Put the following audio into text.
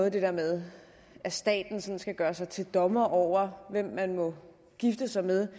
at det der med at staten sådan skal gøre sig til dommer over hvem man må gifte sig med